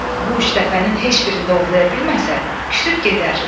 Bu üç dəfənin heç birində ovlaya bilməsə, küsüb gedər.